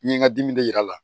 N ye n ka dimi de yir'a la